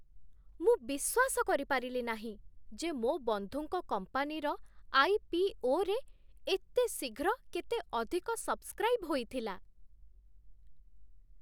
ମୁଁ ବିଶ୍ୱାସ କରିପାରିଲି ନାହିଁ ଯେ ମୋ ବନ୍ଧୁଙ୍କ କମ୍ପାନୀର ଆଇ.ପି.ଓ.ରେ ଏତେ ଶୀଘ୍ର କେତେ ଅଧିକ ସବ୍‌ସ୍କ୍ରା‌ଇବ୍ ହୋଇଥିଲା।